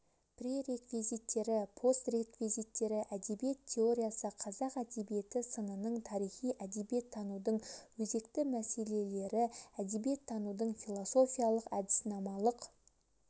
пререквизиттері постреквизиттері әдебиет теориясы қазақ әдебиеті сынының тарихы әдебиеттанудың өзекті мәселелері әдебиеттанудың философиялық-әдіснамалық